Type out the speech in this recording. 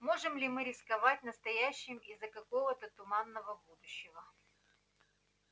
можем ли мы рисковать настоящим из-за какого-то туманного будущего